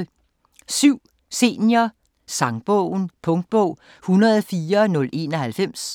Senior sangbogen Punktbog 104091